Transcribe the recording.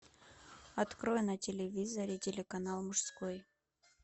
открой на телевизоре телеканал мужской